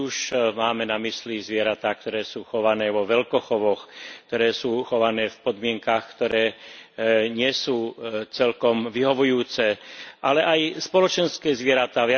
Či už máme na mysli zvieratá, ktoré sú chované vo veľkochovoch, ktoré sú chované v podmienkach, ktoré nie sú celkom vyhovujúce, ale aj spoločenské zvieratá.